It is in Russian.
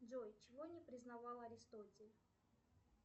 джой чего не признавал аристотель